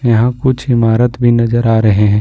यहां कुछ इमारत भी नजर आ रहे हैं।